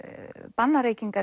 banna reykingar